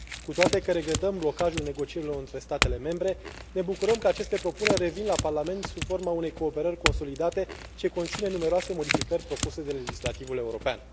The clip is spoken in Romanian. Cu toate că regretăm blocajul negocierilor între statele membre, ne bucurăm că aceste propuneri revin la Parlament sub forma unei cooperări consolidate, ce conține numeroase modificări propuse de legislativul european.